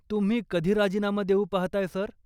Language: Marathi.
तुम्ही कधी राजीनामा देऊ पाहताय, सर?